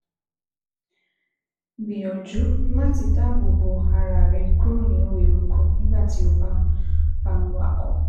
Gbìyànjú láti dáàbò bo ara rẹ kúrò nínú eruku nígbà tí o bá ń bá ń wakọ̀